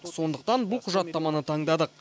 сондықтан бұл құжаттаманы таңдадық